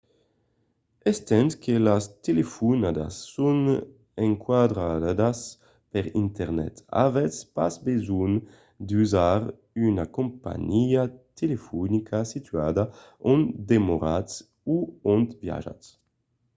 estent que las telefonadas son endralhadas per internet avètz pas besonh d’utilizar una companhiá telefonica situada ont demoratz o ont viatjatz